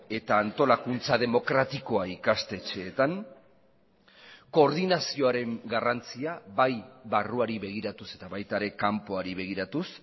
eta antolakuntza demokratikoa ikastetxeetan koordinazioaren garrantzia bai barruari begiratuz eta baita ere kanpoari begiratuz